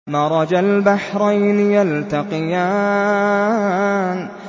مَرَجَ الْبَحْرَيْنِ يَلْتَقِيَانِ